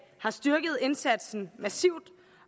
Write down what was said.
har styrket indsatsen massivt